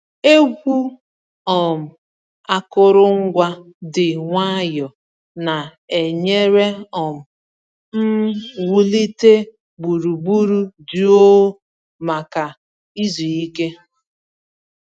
Egwu um akụrụngwa dị nwayọọ na-enyere um m wulite gburugburu jụụ maka izu ike.